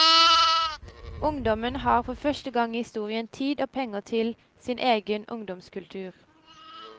Ungdommen har for første gang i historien tid og penger til sin egen ungdomskultur.